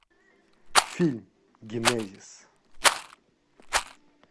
фильм генезис